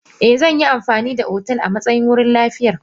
Eh, zan yi amfani da otal a matsayin wurin liyafar.